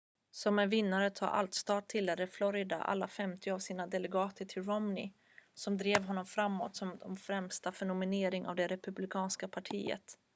som en vinnare-tar-allt-stat tilldelade florida alla femtio av sina delegater till romney och drev honom framåt som den främsta för nominering av det republikanska partiet